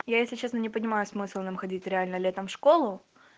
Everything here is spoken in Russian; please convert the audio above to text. я если честно не понимаю смысл нам ходить реально летом в школу